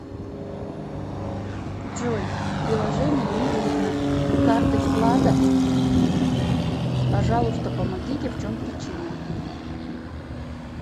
джой приложение не видно карт и вкладов пожалуйста помогите в чем причина